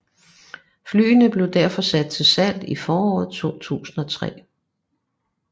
Flyene blev derfor sat til salg i foråret 2003